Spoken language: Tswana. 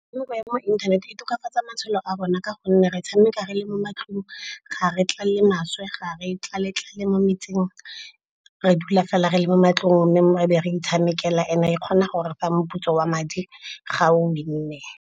Metshameko ya mo inthaneteng e tokafatsa matshelo a rona ka gonne re tshameka re le mo matlong ga re tlale maswe, ga re tlale-tlale mo metseng. Re dula fela re le mo matlong mme mo ebe re itshamekela and-e e kgona gore fa moputso wa madi ga o win-e.